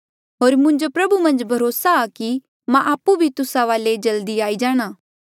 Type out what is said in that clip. होर मुंजो प्रभु मन्झ भरोसा आ कि मां आपु भी तुस्सा वाले जल्दी आई जाणा